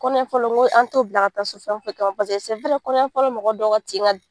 Kɔnɔɲɛfɔlɔ n ko an t'o bila ka taa so fɛn o fɛn kama paseke kɔnɔɲɛfɔlɔ mɔgɔ dɔw ka tin ka